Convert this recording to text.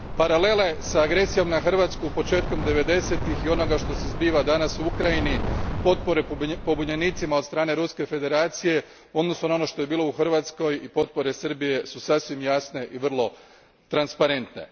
Paralele s agresijom na Hrvatsku početkom devedesetih i onoga što se zbiva danas u Ukrajini, potpore pobunjenicima od strane Ruske Federacije u odnosu na ono što je bilo u Hrvatskoj i potpore Srbije su sasvim jasne i vrlo transparentne.